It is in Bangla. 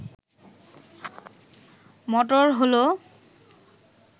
মোটর হল